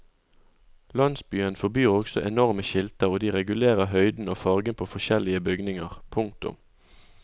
Landsbyen forbyr også enorme skilter og de regulerer høyden og fargen på forskjellige bygninger. punktum